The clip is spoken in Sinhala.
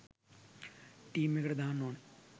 ටීම් එකට දාන්න ඕන